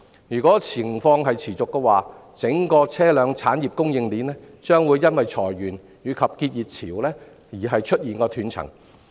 如果情況持續，整條車輛產業供應鏈將會因裁員及結業潮而出現斷層。